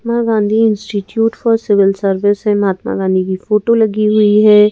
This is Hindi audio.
Mahatma Gandhi institute for civil service है महात्मा गांधी की फोटो लगी हुई है ।